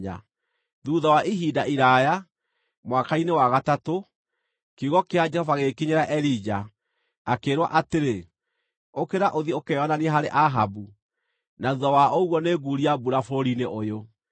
Thuutha wa ihinda iraaya, mwaka-inĩ wa gatatũ, kiugo kĩa Jehova gĩgĩkinyĩra Elija, akĩĩrwo atĩrĩ, “Ũkĩra ũthiĩ ũkeyonanie harĩ Ahabu, na thuutha wa ũguo nĩnguuria mbura bũrũri-inĩ ũyũ.”